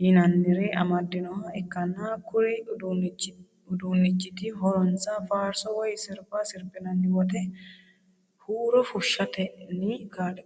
yinannire amadinnoha ikkanna. kuri uduunnichiti horonsano faarso woy sirba sirbinanni woyte huuro fushshatenni kaa'litannote